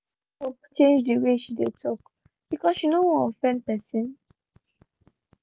she use scope change the way she dey talk because she no wan offend pesin